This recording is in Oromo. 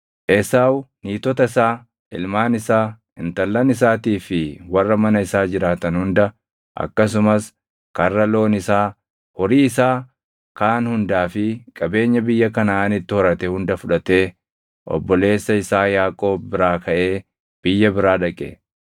Esaawu niitota isaa, ilmaan isaa, intallan isaatii fi warra mana isaa jiraatan hunda, akkasumas karra loon isaa, horii isaa kaan hundaa fi qabeenya biyya Kanaʼaanitti horate hunda fudhatee obboleessa isaa Yaaqoob biraa kaʼee biyya biraa dhaqe.